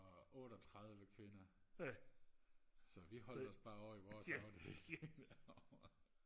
og otteogtredive kvinder så vi holdte os bare ovre i vores afdeling derovre